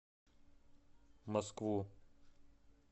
москву